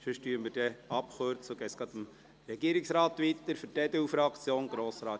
Sonst kürzen wir ab und erteilen dem Regierungsrat das Wort.